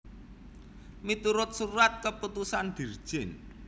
Miturut Surat Keputusan Dirjen